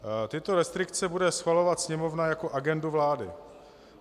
Tyto restrikce bude schvalovat Sněmovna jako agendu vlády.